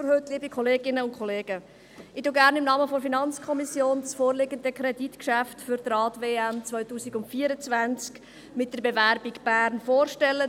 Ich stelle Ihnen gerne im Namen der FiKo das vorliegende Kreditgeschäft Rad-Weltmeisterschaft 2024 (Rad-WM 2024) mit der Bewerbung von Bern vor.